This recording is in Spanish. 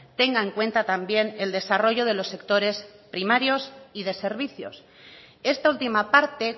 tenga en cuenta también el desarrollo de los sectores primarios y de servicios esta última parte